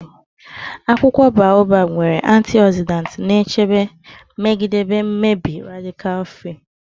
Akwụkwọ Baobab nwere antioxidants na-echebe megide mmebi radical free.